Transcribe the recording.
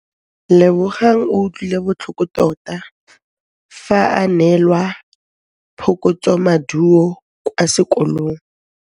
Lebogang o utlwile botlhoko tota fa a neelwa phokotsômaduô kwa sekolong.